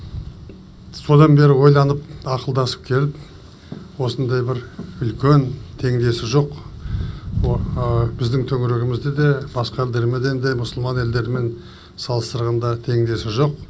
содан бері ойланып ақылдасып келіп осындай бір үлкен теңдесі жоқ біздің төңірегімізде де басқа елдермен де мұсылман елдерімен салыстырғанда теңдесі жоқ